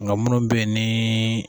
Nka munnu be yen ni